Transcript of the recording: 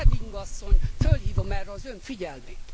Reding asszony, fölhívom erre az Ön figyelmét!